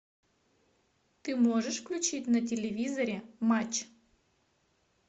ты можешь включить на телевизоре матч